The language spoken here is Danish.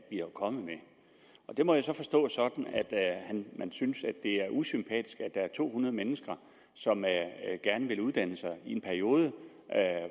kommet med det må jeg så forstå sådan at han synes det er usympatisk at der er to hundrede mennesker som gerne vil uddanne sig i en periode